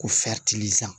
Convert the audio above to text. Ko